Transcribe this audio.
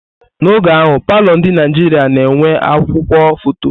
N'oge ahụ, palọ ndi Naijiria na enwe akwukwuo foto.